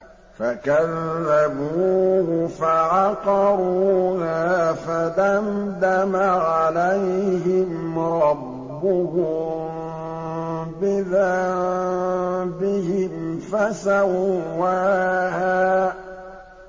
فَكَذَّبُوهُ فَعَقَرُوهَا فَدَمْدَمَ عَلَيْهِمْ رَبُّهُم بِذَنبِهِمْ فَسَوَّاهَا